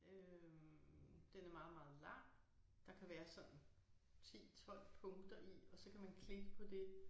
Øh den er meget meget lang. Der kan være sådan 10 12 punkter i og så kan man klikke på det